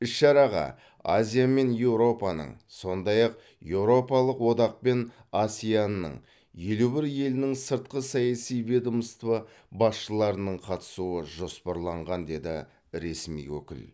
іс шараға азия мен еуропаның сондай ақ еуропалық одақ пен асеан ның елу бір елінің сыртқы саяси ведомство басшыларының қатысуы жоспарланған деді ресми өкіл